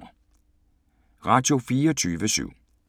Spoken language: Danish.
Radio24syv